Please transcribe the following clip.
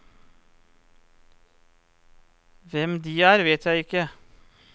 Hvem de er, vet jeg ikke.